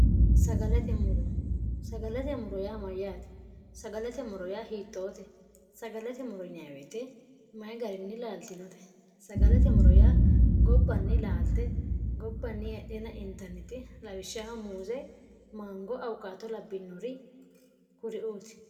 sagalate moro yaa maryaate sagalate moro yaa hiittoote sagalete moro yaweete mayi garinni laaltinote sagalate moro yaa gobbanni laalte gobbanni hedhena intanneti lawishshah muuze maangoo awukaato labbinori kuriuuti